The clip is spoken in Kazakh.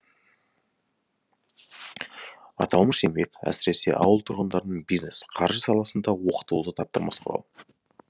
аталмыш еңбек әсіресе ауыл тұрғындарын бизнес қаржы саласында оқытуда таптырмас құрал